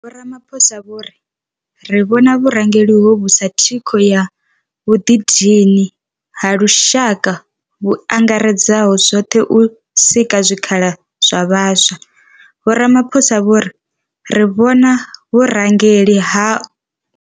Vho Ramaphosa vho ri. Ri vhona vhurangeli hovhu sa thikho ya vhuḓidini ha lushaka vhu angaredzaho zwoṱhe u sika zwikhala zwa vhaswa.